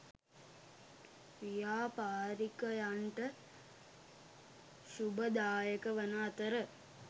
ව්‍යාපාරිකයන්ට ශුභදායක වන අතර